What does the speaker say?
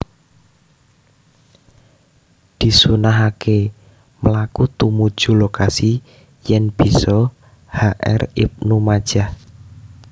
Disunnahaké mlaku tumuju lokasi yèn bisa H R ibnu majah